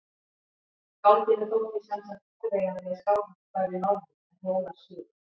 Skáldinu þótti sem sagt óviðeigandi að Skálholt færi norður en Hólar suður.